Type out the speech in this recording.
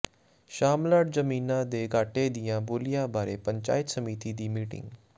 ਸ਼ਾਮਲਾਟ ਜ਼ਮੀਨਾਂ ਦੇ ਘਾਟੇ ਦੀਆਂ ਬੋਲੀਆਂ ਬਾਰੇ ਪੰਚਾਇਤ ਸਮਿਤੀ ਦੀ ਮੀਟਿੰਗ